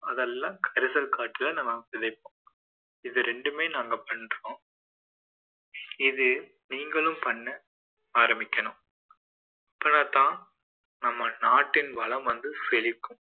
அதெல்லாம் கரிசல் காட்டில நம்ம விதைப்போம் இது ரெண்டுமே நாங்க பண்றோம் இதை நீங்களும் பண்ண ஆரம்பிக்கணும் அப்போதுதான் நம்ம நாட்டின் வளம் வந்து செழிக்கும்